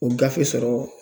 O gafe sɔrɔ